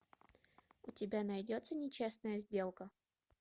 у тебя найдется нечестная сделка